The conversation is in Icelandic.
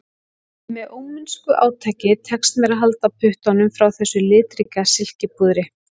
Með ómennsku átaki tekst mér að halda puttunum frá þessu litríka silkipúðri